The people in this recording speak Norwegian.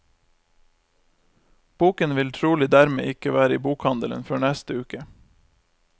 Boken vil trolig dermed ikke være i bokhandelen før i neste uke.